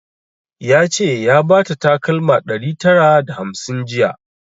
Ya ce ya bata takalma ɗari tara da hamsin jiya